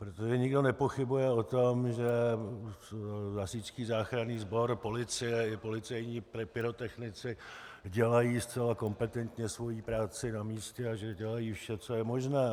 Protože nikdo nepochybuje o tom, že Hasičský záchranný sbor, policie i policejní pyrotechnici dělají zcela kompetentně svoji práci na místě a že dělají vše, co je možné.